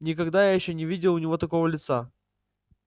никогда ещё я не видел у него такого лица